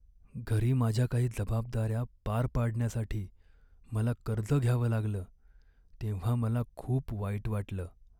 घरी माझ्या काही जबाबदाऱ्या पार पाडण्यासाठी मला कर्ज घ्यावं लागलं तेव्हा मला खूप वाईट वाटलं.